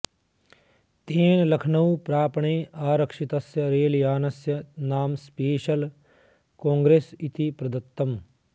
तेन लखनऊ प्रापणे आरक्षितस्य रेलयानस्य नाम स्पेश्यल कोङ्ग्रेस इति प्रदत्तम्